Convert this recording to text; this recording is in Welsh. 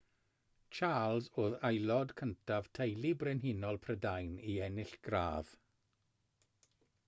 charles oedd aelod cyntaf teulu brenhinol prydain i ennill gradd